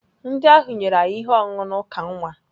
Ndị ahụ nyere anyị ihe ọṅụṅụ na uka nwa.